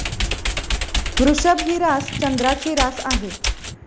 वृषभ ही रास चंद्राची रास आहे.